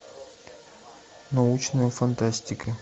научная фантастика